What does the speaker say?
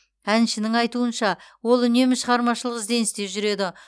әншінің айтуынша ол үнемі шығармашылық ізденісте жүреді